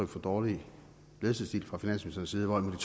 for dårlig ledelsesstil fra finansministerens